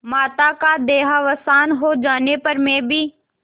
माता का देहावसान हो जाने पर मैं भी